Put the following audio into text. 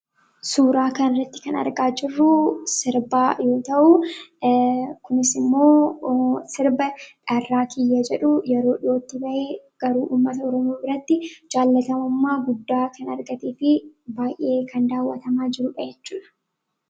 Suuraa kanarratti kan argaa jirru sirbaa yoo ta'u, kunis immoo sirba Dharraa Kiyya jedhu yeroo dhiyootti bahe garuu uummanni Oromoo biratti jaallatamummaa guddaa kan argatee fi baay'ee kan daawwatamaa jirudha jechuudha.